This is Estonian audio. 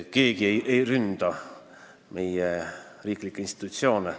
Keegi ei ründa meie riiklikke institutsioone.